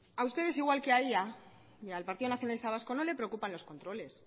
a ustedes igual que a ella y al partido nacionalista vasco no le preocupan los controles